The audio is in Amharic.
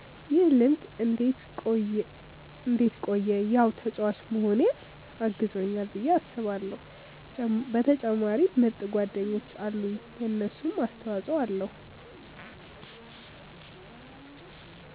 ይህ ልምድ እንዴት ቆየ ያው ተጫዋች መሆኔ አግዞኛል ብዬ አስባለው በተጨማሪም ምርጥ ጓደኞች አሉኝ የነሱም አስተፆይ ኣለዉ።